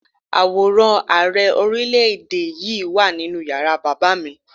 Àwòrán Ààrẹ Orílé-èdè yí wà nínú yàrá bàbá mi